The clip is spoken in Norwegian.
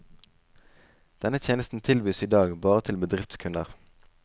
Denne tjenesten tilbys i dag bare til bedriftskunder.